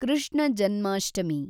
Krishna Janmashtami